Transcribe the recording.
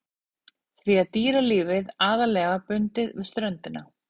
Því er dýralífið aðallega bundið við ströndina.